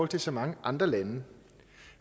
til så mange andre lande